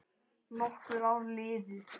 Nokkur ár liðu.